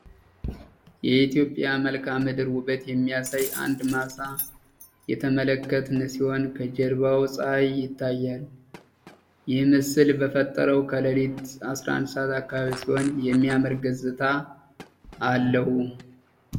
የኢትዮጵያ መልክዓ ምድር ውበት የሚያሳይ አንድ ማሳ የተመለከተን ሲሆን ከጀርባውም ፀሐይ ይታያል ይህ ምስለ የሚፈጠረው ከሌሊቱ 11 አካባቢ ሲሆን የሚያምር ገጽታ አለው።